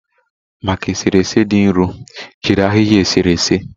Maka eserese dị nro, jiri ahịhịa eserese.